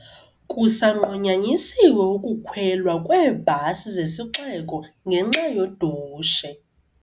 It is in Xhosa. Kusanqunyanyisiwe ukukhwelwa kweebhasi zesiXeko ngenxa yodushe.